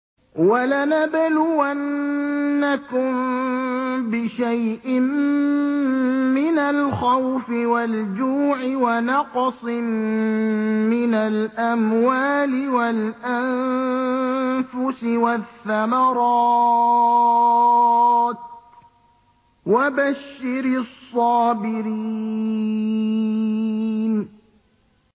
وَلَنَبْلُوَنَّكُم بِشَيْءٍ مِّنَ الْخَوْفِ وَالْجُوعِ وَنَقْصٍ مِّنَ الْأَمْوَالِ وَالْأَنفُسِ وَالثَّمَرَاتِ ۗ وَبَشِّرِ الصَّابِرِينَ